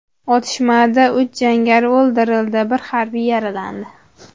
Otishmada uch jangari o‘ldirildi, bir harbiy yaralandi.